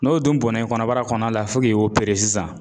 N'o dun bɔnna i kɔnɔbara kɔnɔna la fo k'i sisan